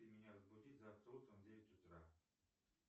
ты меня разбуди завтра утром в девять утра